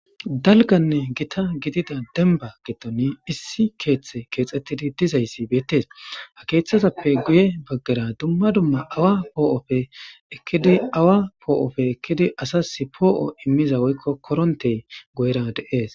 Dalganne githa gidida demba giddoni issi keeththe keexeththidi dizayssi beeththes; ha keeththazappe guye baggara dumma dumma awa poo7oppe ekkidi awa poo7oppe ekkidi asassi poo7o immiza woykko koronthey goyera de7ees.